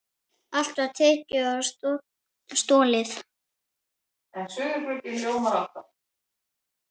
Allt var tekið og stolið.